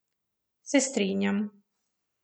Se strinjam.